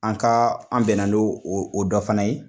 An ka an bɛnna n'o o o dɔ fana ye.